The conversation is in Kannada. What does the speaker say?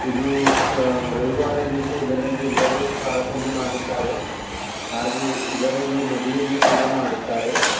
ಇದು ಸ ರವಿವಾರ ದಿವಸ ಇದರಲ್ಲಿ ಎಲ್ಲರು ಪ್ರಾರ್ಥನೆ ಮಾಡುತ್ತಾರೆ ಹಾಗೆ ಇದರಲ್ಲಿ ಮದುವೆಯನ್ನುಕೂಡ ಮಾಡುತ್ತಾರೆ .